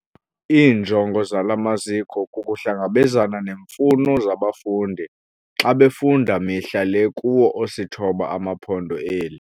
Iinjongo zala maziko kukuhlangabezana neemfuno zabafundi xa befunda mihla le kuwo osithoba amaPhondo eli.